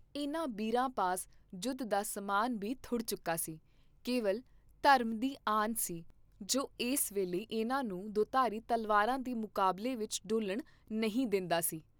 ਇਹਨਾਂ ਬੀਰਾਂ ਪਾਸ ਜੁੱਧ ਦਾ ਸਾਮਾਨ ਬੀ ਥੁੜ ਚੁੱਕਾ ਸੀ, ਕੇਵਲ ਧਰਮ ਦੀ ਆਨ ਸੀ ਜੋ ਇਸ ਵੇਲੇ ਇਹਨਾਂ ਨੂੰ ਦੁਧਾਰੀ ਤਲਵਾਰਾਂ ਦੇ ਮੁਕਾਬਲੇ ਵਿਚ ਡੋਲਣ ਨਹੀਂ ਦੇ ਂਦਾ ਸੀ।